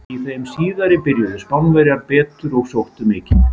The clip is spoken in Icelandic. Í þeim síðari byrjuðu Spánverjar betur og sóttu mikið.